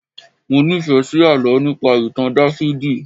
Mọ nífẹ̀ẹ́ sí àlọ́ nípa ìtàn Dáfídì